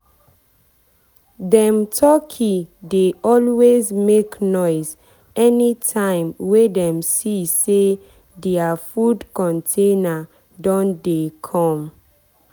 dem turkey dey always make noise anytime wey dem see say dia food container don dey come.